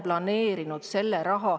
Ma olen selle raha ära planeerinud.